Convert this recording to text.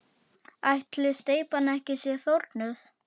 Ætli steypan sé ekki þornuð?